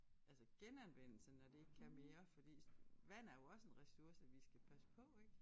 Altså genanvendelse når det ikke kan mere fordi vand er jo også en ressource vi skal passe på ik